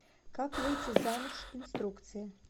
как выйти замуж инструкция